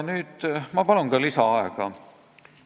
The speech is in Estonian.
Ma palun lisaaega!